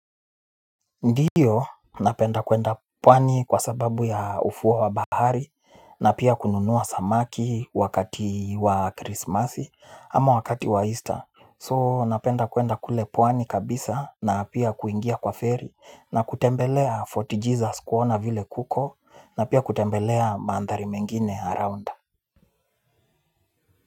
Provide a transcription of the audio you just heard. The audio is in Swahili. Ndiyo napenda kuenda pwani kwa sababu ya ufuwa wa bahari na pia kununua samaki wakati wa krismasi ama wakati wa easter So napenda kuenda kule pwani kabisa na pia kuingia kwa ferry na kutembelea Forty Jesus kuona vile kuko na pia kutembelea mandhari mengine around.